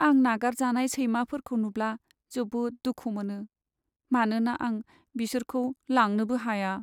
आं नागारजानाय सैमाफोरखौ नुब्ला जोबोद दुखु मोनो, मानोना आं बिसोरखौ लांनोबो हाया।